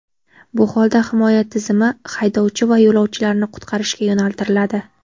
Bu holda himoya tizimi haydovchi va yo‘lovchilarni qutqarishga yo‘naltiriladi.